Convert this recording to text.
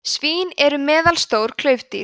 svín eru meðalstór klaufdýr